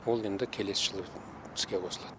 ол енді келесі жылы іске қосылады